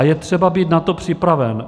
A je třeba být na to připraven.